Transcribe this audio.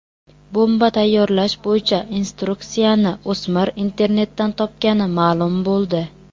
Bomba tayyorlash bo‘yicha instruksiyani o‘smir internetdan topgani ma’lum bo‘ldi.